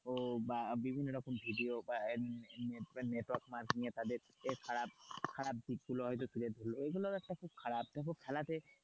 ও বা বিভিন্ন রকম ভিডিও বা নেটওয়ার্কে মাধ্যমে তাদেরকে খারাপ, খারাপ দিক গুলো ধরলো এটা খুব খারাপ দেখো খেলাতে,